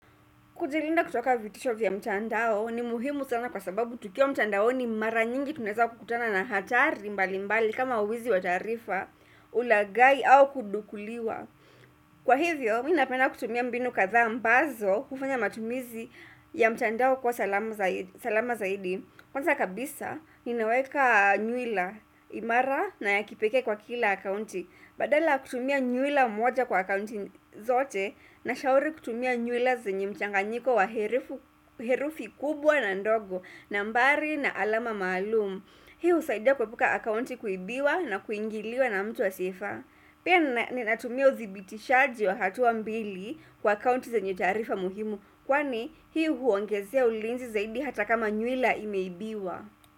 Kujilinda kutoka vitisho vya mtandao ni muhimu sana kwa sababu tukiwa mtandaoni mara nyingi tunaweza kukutana na hatari mbali mbali kama uwizi wa taarifa, ulagai au kudukuliwa. Kwa hivyo, mimi napenda kutumia mbinu kadhaa ambazo hufanya matumizi ya mtandao kuwa salama zaidi. Kwanza kabisa inaweka nywila imara na ya kipekee kwa kila akaunti badala kutumia nywila mmoja kwa akaunti zote, nashauri kutumia nywila zenye mchanganyiko wa herufi kubwa na ndogo nambari na alama maalumu Hii husaidia kuepuka akaunti kuibiwa na kuingiliwa na mtu asiyefaa Pia ninatumia uzibitishaji wa hatua mbili kwa akaunti zanye taarifa muhimu Kwani hii huongezea ulinzi zaidi hata kama nywila imeibiwa.